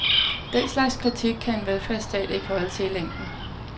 Den slags kritik kan en velfærdsstat ikke holde til i længden.